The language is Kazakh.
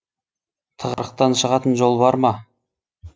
тығырықтан шығатын жол бар ма